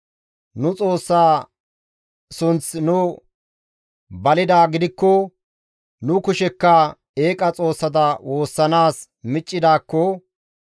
Nu Xoossa sunth nuni balidaa gidikko nu kushekka eeqa xoossata woossanaas miccidaakko,